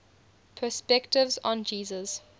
perspectives on jesus